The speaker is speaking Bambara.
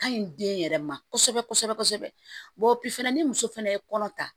Ka ɲi den yɛrɛ ma kosɛbɛ kosɛbɛ fana ni muso fɛnɛ ye kɔnɔ ta